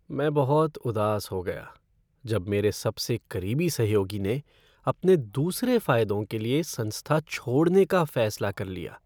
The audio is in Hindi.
मैं बहुत उदास हो गया जब मेरे सबसे करीबी सहयोगी ने अपने दूसरे फ़ायदों के लिए संस्था छोड़ने का फ़ैसला कर लिया।